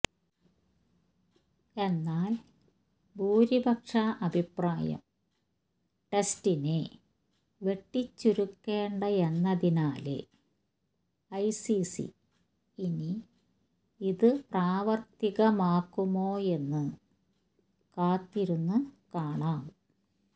എന്നാല് ഭൂരിപക്ഷ അഭിപ്രായം ടെസ്റ്റിനെ വെട്ടിച്ചുരുക്കേണ്ടയെന്നായതിനാല് ഐസിസി ഇനി ഇതു പ്രാവര്ത്തികമാക്കുമോയെന്നു കാത്തിരുന്നു കാണാം